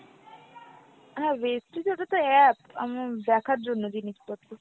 হ্যাঁ Vestige ওটাতো app আমার দেখার জন্য জিনিসপত্র।